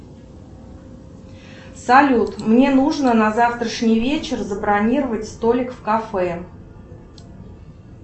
салют мне нужно на завтрашний вечер забронировать столик в кафе